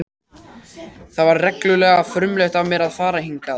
Það var reglulega frumlegt af mér að fara hingað.